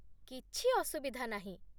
କିଛି ଅସୁବିଧା ନାହିଁ ।